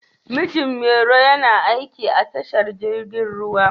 Mijin Mairo yana aiki a tashar jirgin ruwa.